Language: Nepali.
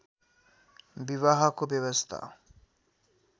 विवाहको व्यवस्था